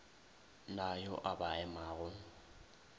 na yo a ba emago